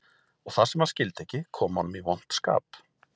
Og það sem hann skildi ekki kom honum í vont skap